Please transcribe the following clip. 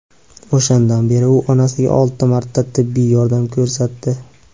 O‘shandan beri u onasiga olti marta tibbiy yordam ko‘rsatdi.